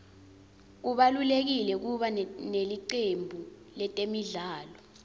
kubalulekile kuba nelicembu letemidlalo